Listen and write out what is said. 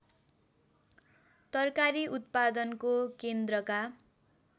तरकारी उत्पादनको केन्द्रका